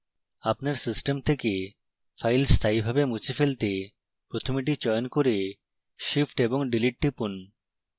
আপনার system থেকে file স্থায়ীভাবে মুছে ফেলতে প্রথমে এটি চয়ন করে shift + delete টিপুন